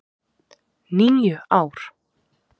. níu ár!